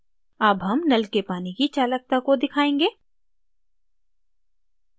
अब हम now के पानी की चालकता को दिखायेंगे